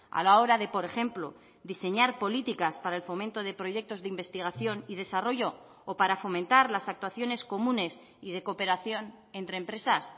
a la hora de por ejemplo diseñar políticas para el fomento de proyectos de investigación y desarrollo o para fomentar las actuaciones comunes y de cooperación entre empresas